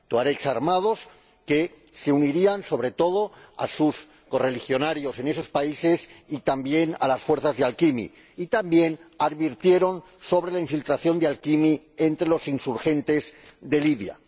Tuaregs armados que se unirían, sobre todo, a sus correligionarios en esos países y también a las fuerzas de AQMI y también advirtieron sobre la infiltración de AQMI entre los insurgentes de Libia.